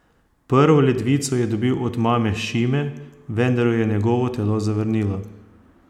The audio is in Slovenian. Prvo ledvico je dobil od mame Šime, vendar jo je njegovo telo zavrnilo.